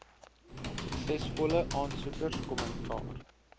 suksesvolle aansoekers kommentaar